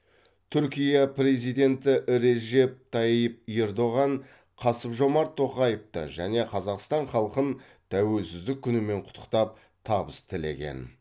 түркия президенті режеп тайип ердоған қасым жомарт тоқаевты және қазақстан халқын тәуелсіздік күнімен құттықтап табыс тілеген